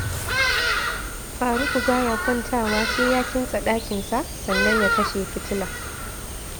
Furuku ba ya kwantawa sai ya kintsa ɗakinsa, sannan ya kashe fitila